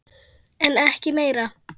En ekki meira.